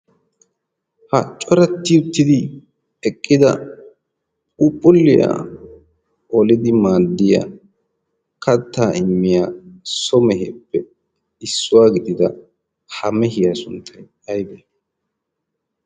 ha cuaratti uttidi eqqida puphuliyaa olidi maaddiya kattaa immiya so meheeppe issuwaa gidida ha mehiyaa sunttai aibii?